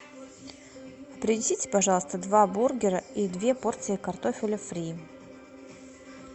принесите пожалуйста два бургера и две порции картофеля фри